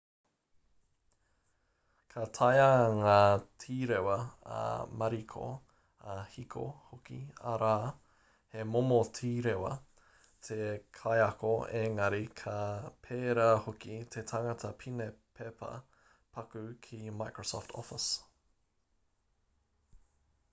ka taea ngā tīrewa ā-mariko ā-kiko hoki arā he momo tīrewa te kaiako engari ka pērā hoki te tangata pine pepa paku ki microsoft office